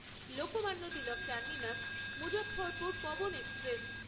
Lokmanya Tilak terminus Muzaffarpur Pawan express